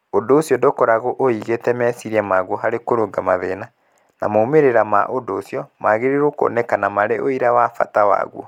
Ũndũ ũcio ndũkoragwo ũigĩte meciria maguo harĩ kũrũnga mathĩna, na moimĩrĩra ma ũndũ ũcio magĩrĩirũo kuoneka marĩ ũira wa bata waguo.